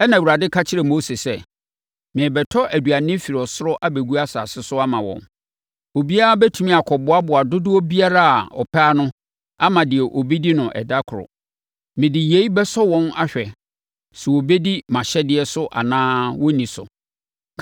Ɛnna Awurade ka kyerɛɛ Mose sɛ, “Merebɛtɔ aduane firi soro abɛgu asase so ama wɔn. Obiara bɛtumi akɔboaboa dodoɔ biara a ɔpɛ ano ama deɛ ɔbɛdi no ɛda koro. Mede yei bɛsɔ wɔn ahwɛ sɛ wɔbɛdi mʼahyɛdeɛ so anaasɛ wɔrenni so.